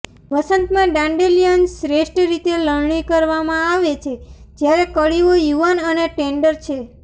વસંતમાં dandelions શ્રેષ્ઠ રીતે લણણી કરવામાં આવે છે જ્યારે કળીઓ યુવાન અને ટેન્ડર છે